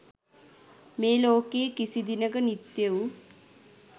මේ ලෝකයේ කිසිදිනක නිත්‍ය වූ